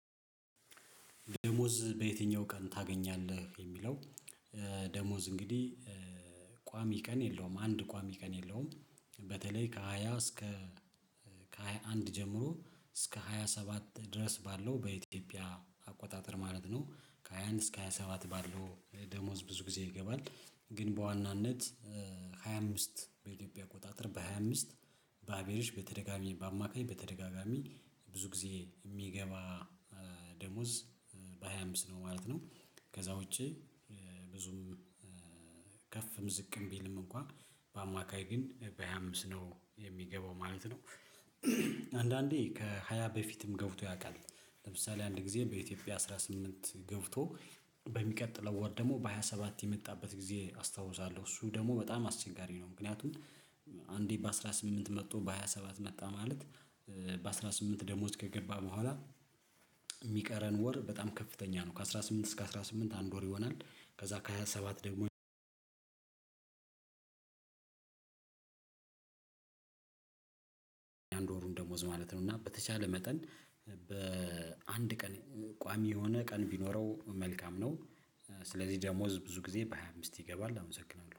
ደሞዝ በየትኛው ቀን ታገኛለህ የሚለው? ደሞዝ እንግዲህ ቋሚ ቀን የለውም አንድ ቋሚ ቀን የለውም። በተለይ ከሃያ እስከ ከሃያ አንድ ጀምሮ እስከ ሃያ ሰባት ድረስ ባለው በኢትዮጵያ አቆጣጠር ማለት ነው። ከሃያ አንድ እስከ ሃያ ሰባት ባለው ደሞዝ ብዙ ጊዜ ይገባል። ግን በዋናነት ሃያ አምስት በኢትዮጵያ አቆጣጠር በሃያ አምስት በአቨሬጅ በተደጋጋሚ በአማካኝ በተደጋጋሚ ብዙ ጊዜ የሚገባ ደሞዝ በሃያ አምስት ነው ማለት ነው። ከዛ ውጪ ብዙም ከፍም ዝቅም ብልም እንኳ በአማካኝ ግን በሃያ አምስት ነው የሚገባው ማለት ነው። አንዳንዴ ከሃያ በፊትም ገብቶ ያውቃል። ለምሳሌ አንድ ጊዜ በኢትዮጵያ አስራ ስምንት ገብቶ በሚቀጥለው ወር ደግሞ በሃያ ሰባት የመጣበት ጊዜ አስታውሳለሁ። እሱ ደግሞ በጣም አስቸጋሪ ነው። ምክንያቱም አንዴ በአስራ ስምንት መጥቶ በሃያ ሰባት መጣ ማለት። በአስራ ስምንት ደሞዝ ከገባ በኋላ። የሚቀረን ወር በጣም ከፍተኛ ነው ከአስራ ስምንት እስከ አስራ ስምንት አንድ ወር ይሆናል። ከዛ ከሃያ ሰባት ደግሞ አንድ ወሩን ደሞዝ ማለት ነው። እና በተቻለ መጠን በአንድ ቀን ቋሚ የሆነ ቀን ቢኖረው መልካም ነው። ስለዚህ ደሞዝ ብዙ ጊዜ በሃያ አምስት ይገባል አመሰግናለሁ